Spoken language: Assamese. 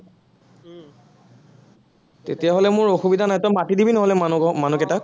তেতিয়া হলে মোৰ অসুবিধা নাই, তই মাতি দিবি নহলে মানুহ ঘৰ, মানহকেইটাক